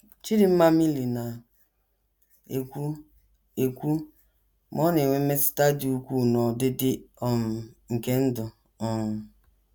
Chidinma Mili na - ekwu, ekwu, “ ma ọ na - enwe mmetụta dị ukwuu n’ọdịdị um nke ndụ um. ”